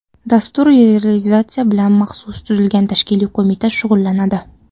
Dastur realizatsiyasi bilan maxsus tuzilgan tashkiliy qo‘mita shug‘ullanadi.